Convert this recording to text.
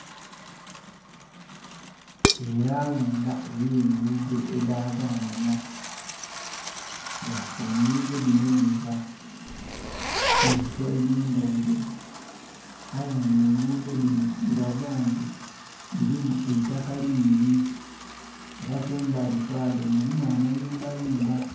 Elawunda ey'enguudo edhaganhanha, nga enguudo dhino dhiva mu bifo eby'endhaghulo aye nga enguudo dhino dhiraga nti dhirimu eitaka lingi era kumbali kwadho mulimu amayumbayumba.